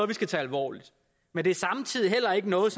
vi skal tage alvorligt men det er samtidig heller ikke noget